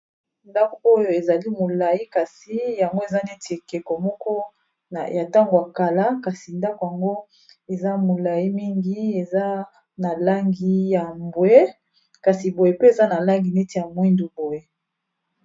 Ndako oyo ezali molayi kasi yango eza neti ekeko moko ya ntango ya kala kasi ndako yango eza molayi mingi eza na langi ya mbwe kasi boye pe eza na langi neti ya mwindu boye.